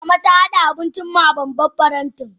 Mama ta hada abincin mu a babban faranti.